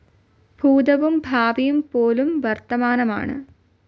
ഭൂതവും ഭാവിയും പോലും വർത്തമാനമാണ്.